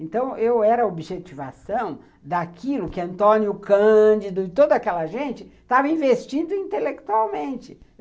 Então eu era a objetivação daquilo que Antônio Cândido e toda aquela gente estava investindo intelectualmente.